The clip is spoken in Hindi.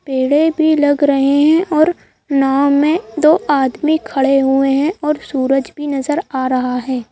पेड़े भी लग रहे हैं और नाव में दो आदमी भी खड़े हुए हैं और सूरज भी नजर आ रहा है।